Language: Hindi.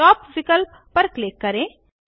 टॉप विकल्प पर क्लिक करें